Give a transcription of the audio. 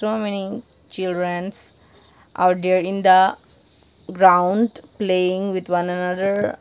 so many childrens are there in the ground playing with one another.